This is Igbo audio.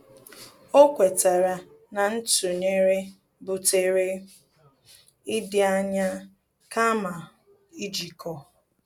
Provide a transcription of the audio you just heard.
Ọ́ kwétárà na ntụnyere butere ịdị ányá kàma íjíkọ́.